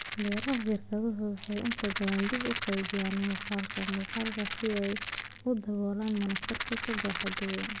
Beeraha shirkaduhu waxay inta badan dib u qaabeeyaan muuqaalka muuqaalka si ay u daboolaan monocultures baaxad weyn.